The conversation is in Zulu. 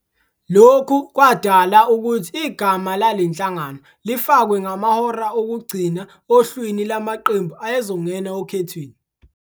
lokhu kwadala ukuthi igama lalenhlangano lifakwe ngamahora okugcina ohlwini lwamaqembu ayezongena okhethweni.